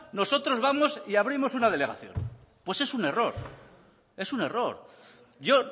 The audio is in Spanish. nosotros vamos y abrimos una delegación pues es un error es un error yo